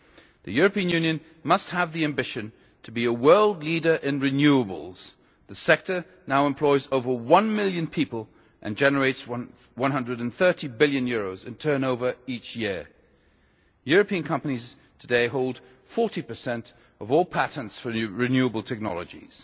The European Union must have the ambition to be a world leader in renewables the sector now employs over one million people and generates EUR 130 billion in turnover each year. European companies today hold 40 of all patents for renewable technologies.